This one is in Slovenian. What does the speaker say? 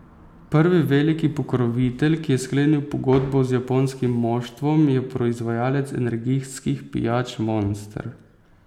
Prvi veliki pokrovitelj, ki je sklenil pogodbo z japonskim moštvom, je proizvajalec energijskih pijač Monster.